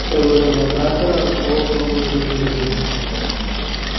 сооружения трантора расположены на глубине в милю